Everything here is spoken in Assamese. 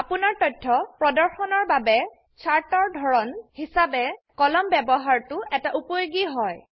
আপোনাৰ তথ্য প্ৰদৰ্শনৰ বাবে চাৰ্ট এৰ ধৰন হিসাবে কলামন ব্যবহাৰতোএটা উপযোগী হয়